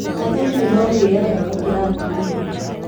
Athuri nĩ maũgĩaga gũkĩra atumia.